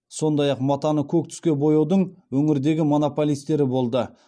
сондай ақ матаны көк түске бояудың өңірдегі монополистері болды